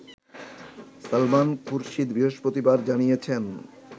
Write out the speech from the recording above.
সালমান খুরশিদ বৃহস্পতিবার জানিয়েছেন